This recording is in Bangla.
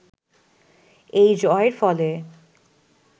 এই জয়ের ফলে